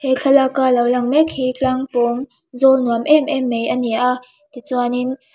he thlalâka lo lang mêk hi tlâng pâwng zâwl nuam êm êm mai a ni a tichuanin.